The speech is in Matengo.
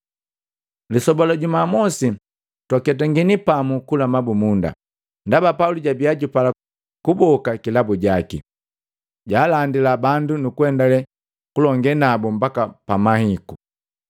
Lisoba la jumamosi twaketangini pamu kula mabumunda. Ndaba Pauli jabia jupala kuboka kilabu jaki, jaalandila bandu nukuendale kulonge naku mbaka pamahiku.